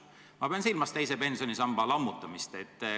Ma pean silmas teise pensionisamba lammutamist.